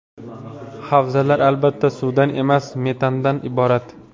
Havzalar, albatta suvdan emas, metandan iborat.